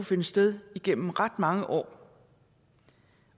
finde sted igennem ret mange år